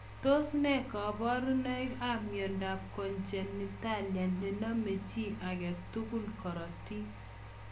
Tos nee kabarunoik ap miondoop konjenitalia nenome chii agee tugul korotik?